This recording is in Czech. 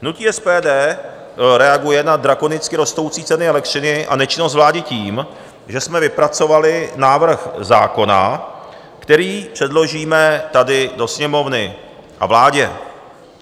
Hnutí SPD reaguje na drakonicky rostoucí ceny elektřiny a nečinnost vlády tím, že jsme vypracovali návrh zákona, který předložíme tady do Sněmovny a vládě.